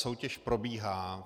Soutěž probíhá.